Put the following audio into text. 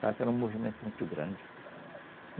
era um movimento muito grande.